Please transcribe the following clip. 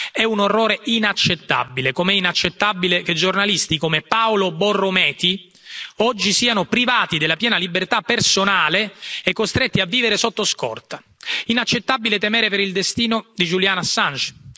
È un orrore inaccettabile, come è inaccettabile che giornalisti come Paolo Borrometi oggi siano privati della piena libertà personale e costretti a vivere sotto scorta. Inaccettabile temere per il destino di Julian Assange.